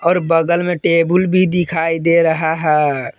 और बगल में टेबुल भी दिखाई दे रहा है।